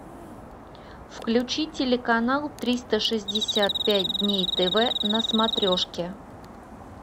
включи телеканал триста шестьдесят пять дней тв на смотрешке